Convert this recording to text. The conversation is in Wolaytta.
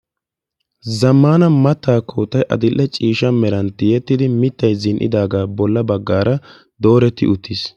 zamana mattaa kootai adil'a ciisha merantti yettidi mittai zin'idaagaa bolla baggaara dooretti uttiis